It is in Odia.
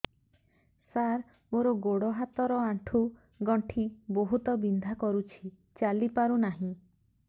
ସାର ମୋର ଗୋଡ ହାତ ର ଆଣ୍ଠୁ ଗଣ୍ଠି ବହୁତ ବିନ୍ଧା କରୁଛି ଚାଲି ପାରୁନାହିଁ